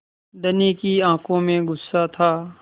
धनी की आँखों में गुस्सा था